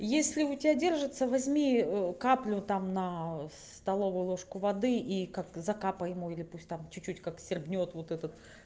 если у тебя держится возьми каплю там на столовую ложку воды и как то закапай ему или пусть там чуть-чуть как сербнет вот этот